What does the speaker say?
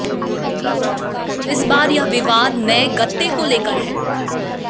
इस बार यह विवाद नए गत्ते को लेकर है